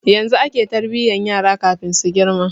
Yanzu ake tarbiyan yara kafin su girma